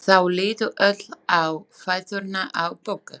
Þau litu öll á fæturna á Boggu.